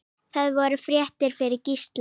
Það voru fréttir fyrir Gísla.